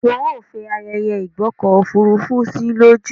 Wọn yóò fẹ ààyè ìgbọ́kọ̀ òfurufú sí lójú.